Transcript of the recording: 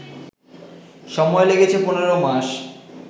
সময় লেগেছে ১৫ মাস